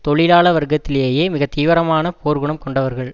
தொழிலாள வர்க்கத்திலேயே மிக தீவிரமான போர் குணம் கொண்டவர்கள்